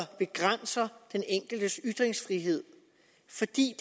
begrænser den enkeltes ytringsfrihed fordi